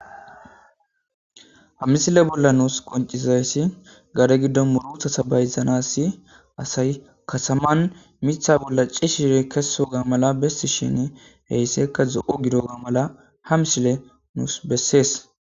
ha mmisile bolla nuus qoncisizayssi gare giddon murutata sabayzanassi asay kasaman mitha bolla ci shire keso ga mala bessi shin heyssekka zo7o gidoga mala ha msile nuus bessees